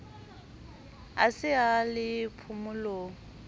a se a le phomolong